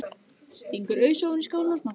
Stingur ausu ofan í skálina og smakkar.